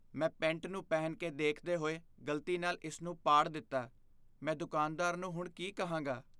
ਮੈਂ ਪੈਂਟ ਨੂੰ ਪਹਿਨ ਕੇ ਦੇਖਦੇ ਹੋਏ ਗਲਤੀ ਨਾਲ ਇਸ ਨੂੰ ਪਾੜ ਦਿੱਤਾ। ਮੈਂ ਦੁਕਾਨਦਾਰ ਨੂੰ ਹੁਣ ਕੀ ਕਹਾਂਗਾ?